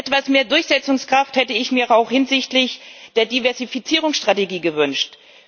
Etwas mehr Durchsetzungskraft hätte ich mir auch hinsichtlich der Diversifizierungsstrategie gewünscht.